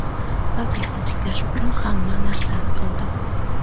vaziyatni tiklash uchun hamma narsani qildim.